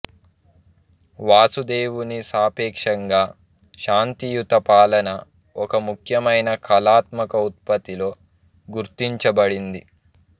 వాసుదేవుని సాపేక్షంగా శాంతియుత పాలన ఒక ముఖ్యమైన కళాత్మక ఉత్పత్తితో గుర్తించబడింది